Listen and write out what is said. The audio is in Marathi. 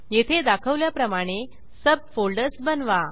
येथे दाखवल्याप्रमाणे सब फोल्डर्स बनवा